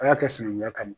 A y'a kɛ sinɛngunya kama